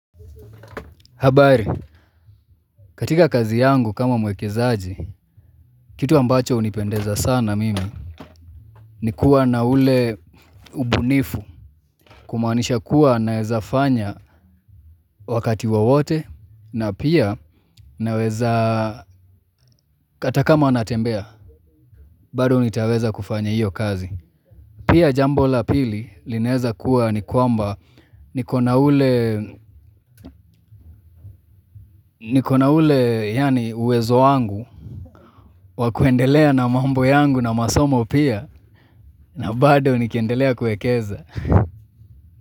Habari, katika kazi yangu kama mwekezaji, kitu ambacho hunipendeza sana mimi, ni kuwa na ule ubunifu, kumaanisha kuwa naeza fanya wakati wowote, na pia naweza hata kama natembea, bado nitaweza kufanya hiyo kazi. Pia jambo la pili linaeza kuwa ni kwamba niko na ule niko na ule uwezo wangu wa kuendelea na mambo yangu na masomo pia na bado nikiendelea kuekeza.